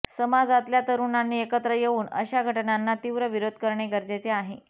समाजातल्या तरुणांनी एकत्र येऊन अशा घटनांना तीव्र विरोध करणे गरजेचे आहे